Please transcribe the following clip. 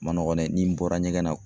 Ma nɔgɔn dɛ n'i bɔra ɲɛgɛn na